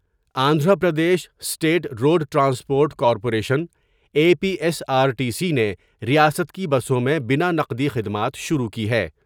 Andhra Pradesh state road transport corporation A P S, R T C نے ریاست کی بسوں میں بنا نقدی خدمات شروع کی ہے ۔